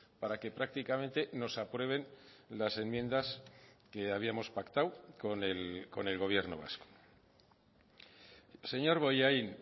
para que prácticamente nos aprueben las enmiendas que habíamos pactado con el gobierno vasco señor bollain